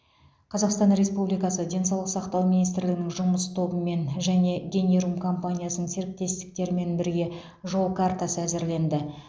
қазақстан республикасы денсаулық сақтау министрлігінің жұмыс тобымен және генерум компаниясының серіктестерімен бірге жол картасы әзірленді